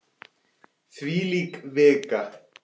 Þvílík vika!